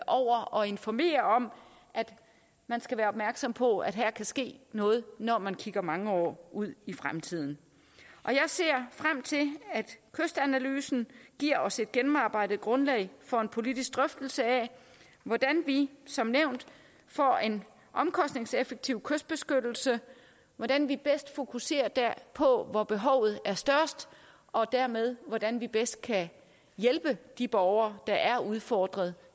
over og informere om at man skal være opmærksom på at her kan ske noget når man kigger mange år ud i fremtiden jeg ser frem til at kystanalysen giver os et gennemarbejdet grundlag for en politisk drøftelse af hvordan vi som nævnt får en omkostningseffektiv kystbeskyttelse hvordan vi bedst fokuserer der hvor hvor behovet er størst og dermed hvordan vi bedst kan hjælpe de borgere der er udfordret